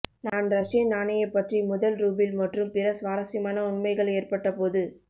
நான் ரஷியன் நாணய பற்றி முதல் ரூபிள் மற்றும் பிற சுவாரஸ்யமான உண்மைகள் ஏற்பட்டபோது